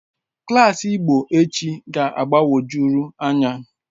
Klas Igbo echi ga-agbagwojuru anya